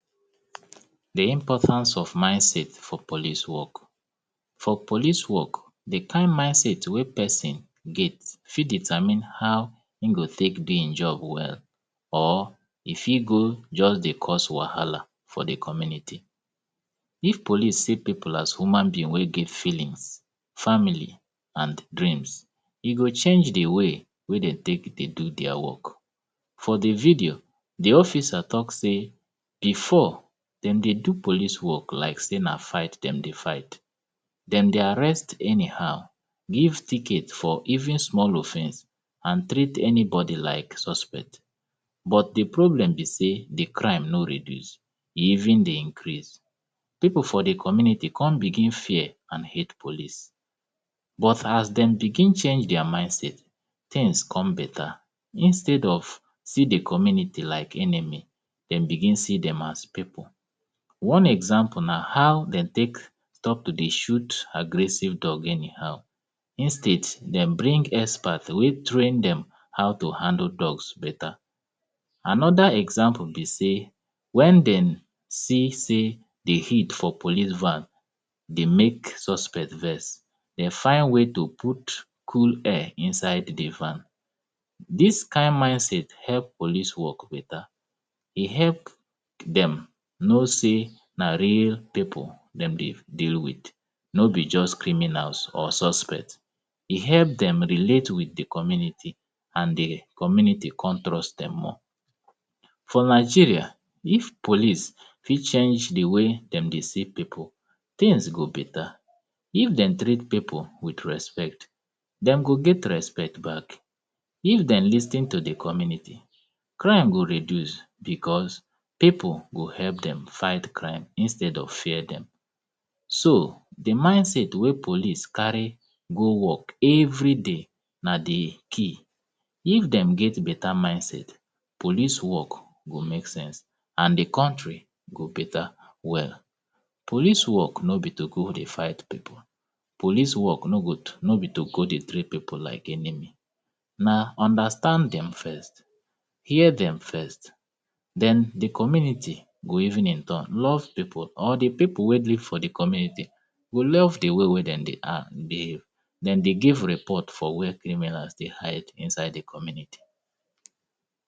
the importance of mindset for police work for police work the kind mindset wey pesin get fit determine how e go take do him job well or e fit go just dey cause wahala for the community if police see people as human beings wey get feelings family and dreams e go change the way wey they take dey do their work for the video the officer talk say before dem dey do police work like say na fight wey dem dey fight dem dey arrest anyhow give ticket for even small offence and treat anybody like suspect but the problem be say the crime no reduce even dey increase people for the community come begin fear and hate police but as dem begin change their mindset things come beta instead of see the community like enemy dem begin see them as people one example na how dem take stop to the shoot aggressive dog anyhow instead dem bring expert wey train them how to handle dogs better another example be say when dem see say they heat for police van dey make suspect vex they find way to put cool air inside the van this kind mindset help police work beta e help them know say na real people dem dey deal no be just criminals or suspect e help them relate with the community and the community come trust them more for nigeria if police fit change the way dem dey see people tings go beta if dem treat people with respect dem go get respect back if dem lis ten to the community crime go reduce because people go help them fight crime instead of fear them so the mindset wey police carry go work everyday na the key if dem get beta mindset police work go make sense and the country go beta well police work no be to go dey fight people police work no be to go dey treat people like anyhow na understanding first hear dem first then the community will even in turn love the po or the people wey live the community go love the way dem dey act dey dem dey give report for where criminals dey hide inside the community